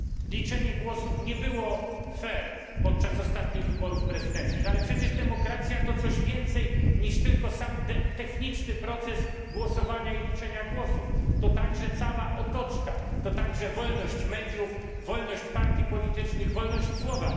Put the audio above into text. liczenie głosów nie było fair podczas ostatnich wyborów prezydenckich, ale przecież demokracja to coś więcej niż tylko sam techniczny proces głosowania i liczenia głosów, to także cała otoczka, to także wolność mediów, wolność partii politycznych, wolność słowa.